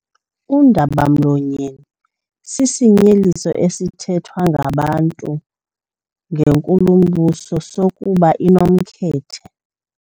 Undaba-mlonyeni sisinyeliso esithethwa ngabantu ngenkulumbuso sokuba inomkhethe.